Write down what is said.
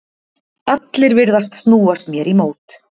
Allir virðast snúast mér í mót.